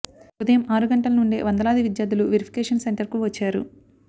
ఉదయం ఆరు గంటల నుండే వందలాది విద్యార్ధులు వెరిఫికేషన్ సెంటర్కు వచ్చారు